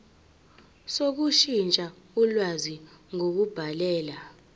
sokushintsha ulwazi ngokubhalela